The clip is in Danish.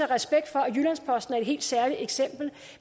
respekt for at jyllands posten er et helt særligt eksempel